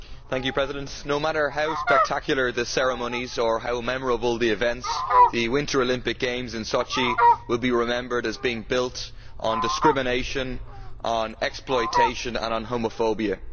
Madam President, no matter how spectacular the ceremonies or how memorable the events, the Winter Olympic Games in Sochi will be remembered as being built on discrimination, on exploitation and on homophobia.